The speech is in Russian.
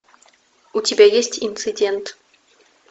у тебя есть инцидент